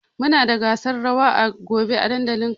Muna da gasar rawa gobe a dandalin kasuwa.